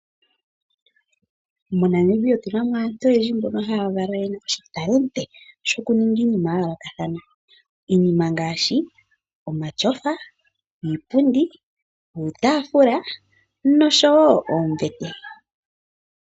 MoNamibia otuna mo aantu oyendji mbono haya kala yena oshitalenti shoku ninga iinima ya yoolokathana. Iinima ngaashi: omashofa, iipundi, uutafula noshowo oombete.